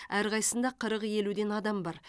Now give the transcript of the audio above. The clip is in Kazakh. әрқайсысында қырық елуден адам бар